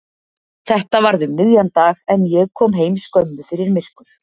Þetta varð um miðjan dag en ég kom heim skömmu fyrir myrkur.